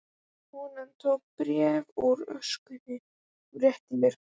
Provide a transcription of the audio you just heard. Konan tók bréf úr öskjunni og rétti mér.